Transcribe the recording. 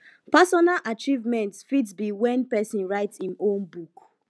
personal achievement fit be when person write im own book